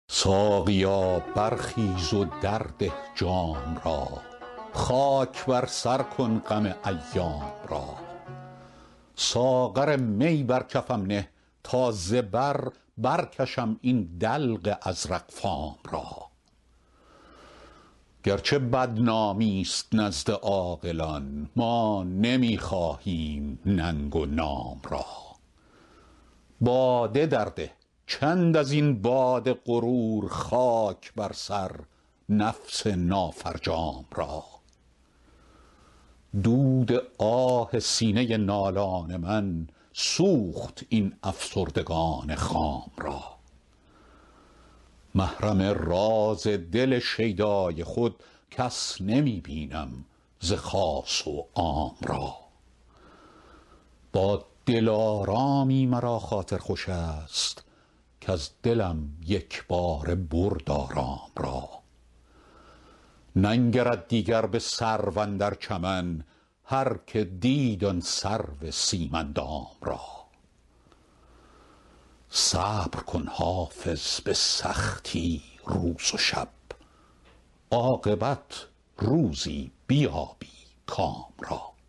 ساقیا برخیز و درده جام را خاک بر سر کن غم ایام را ساغر می بر کفم نه تا ز بر برکشم این دلق ازرق فام را گرچه بدنامی ست نزد عاقلان ما نمی خواهیم ننگ و نام را باده درده چند از این باد غرور خاک بر سر نفس نافرجام را دود آه سینه نالان من سوخت این افسردگان خام را محرم راز دل شیدای خود کس نمی بینم ز خاص و عام را با دلارامی مرا خاطر خوش است کز دلم یک باره برد آرام را ننگرد دیگر به سرو اندر چمن هرکه دید آن سرو سیم اندام را صبر کن حافظ به سختی روز و شب عاقبت روزی بیابی کام را